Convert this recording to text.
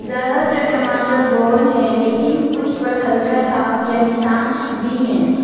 ज्यादातर टमाटर गोल हैं लेकिन कुछ पर हल्का दाग या निशान भी है।